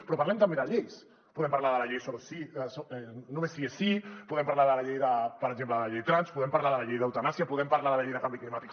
però parlem també de lleis podem parlar de la llei només sí és sí podem parlar per exemple de la llei trans podem parlar de la llei d’eutanàsia podem parlar de la llei de canvi climàtic